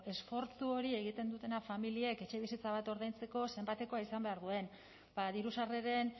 esfortzu hori egiten dutena familiek etxebizitza bat ordaintzeko zenbatekoa izan behar duen ba diru sarreren